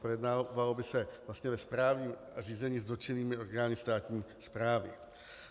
Projednávalo by se vlastně ve správním řízení s dotčenými orgány státní správy.